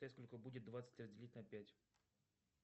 сколько будет двадцать разделить на пять